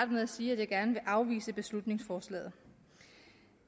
med at sige at jeg kan afvise beslutningsforslaget